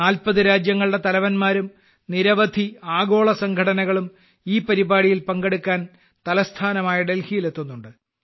40 രാജ്യങ്ങളുടെ തലവന്മാരും നിരവധി ആഗോളസംഘടനകളും ഈ പരിപാടിയിൽ പങ്കെടുക്കാൻ തലസ്ഥാനമായ ഡൽഹിയിലെത്തുന്നുണ്ട്